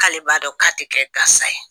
K'ale b'a dɔn k'a tɛ kɛ gansa ye.